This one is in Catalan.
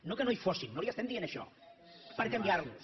no que no hi fossin no li estem dient això per canviar los